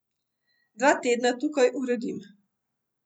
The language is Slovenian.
Dva tedna tukaj uredim.